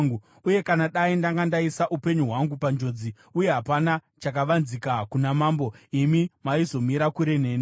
Uye kana dai ndanga ndaisa upenyu hwangu panjodzi, uye hapana chakavanzika kuna mambo, imi maizomira kure neni.”